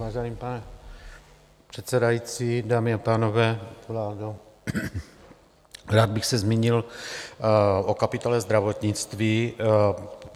Vážený pane předsedající, dámy a pánové, vládo, rád bych se zmínil o kapitole zdravotnictví.